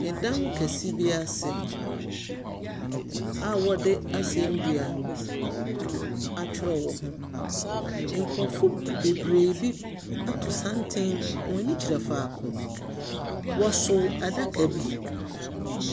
Dan kɛse bi ase a wɔde asɛndua atwere wɔ ho. Nkurɔfo b bebree bi ato santen. Hɔn ani kyerɛ faako. Wɔso adaka bi.